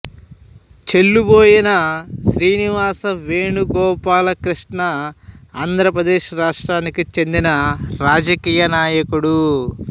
చెల్లుబోయిన శ్రీనివాస వేణుగోపాల కృష్ణ ఆంధ్రప్రదేశ్ రాష్ట్రానికి చెందిన రాజకీయ నాయకుడు